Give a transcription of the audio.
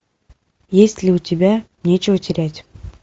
есть ли у тебя нечего терять